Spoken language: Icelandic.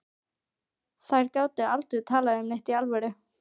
Þær gátu aldrei talað um neitt í alvöru.